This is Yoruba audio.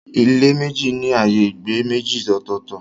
Ilé méjì ní ààyè ìgbé méjì ọ̀tọ̀ọ̀tọ̀.